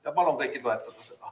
Ja palun kõiki seda toetada!